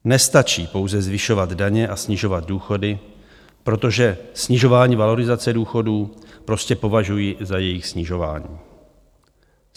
Nestačí pouze zvyšovat daně a snižovat důchody, protože snižování valorizace důchodů prostě považuji za jejich snižování.